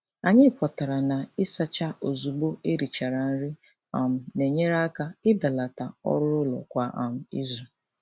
Anyị kwetara na ịsacha ozugbo e richara nri um na-enyere aka ibelata ọrụụlọ kwa um izu.